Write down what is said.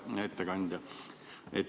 Hea ettekandja!